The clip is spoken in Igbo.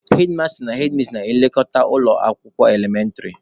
Hedmasta/hedmis na-elekọta ụlọ akwụkwọ elementịrị.